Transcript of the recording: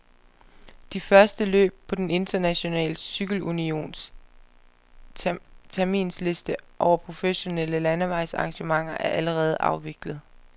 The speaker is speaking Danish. De første løb på den internationale cykelunions terminsliste over professionelle landevejsarrangementer er allerede afviklet.